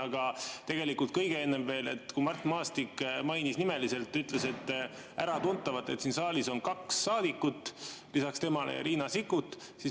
Aga tegelikult kõige enne veel: Mart Maastik mainis nimeliselt Riina Sikkutit ja ütles ka äratuntavalt, et siin saalis on kaks saadikut lisaks temale veel.